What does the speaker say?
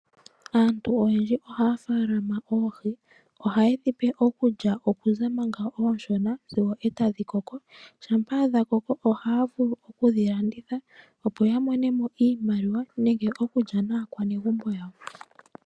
Aantu oyendji ohaa faalama oohi. Ohaye dhi pe okulya okuza manga oonshona sigo e tadhi koko. Shampa dha koko ohaa vulu okudhi landitha opo ya mone mo iimaliwa nenge okulya naakwanezimo yawo.